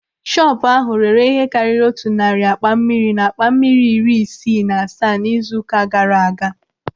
Shọpu ahụ rere ihe karịrị otu narị akpa mmiri na akpa mmiri iri isii na asaa n'izu ụka gaara aga.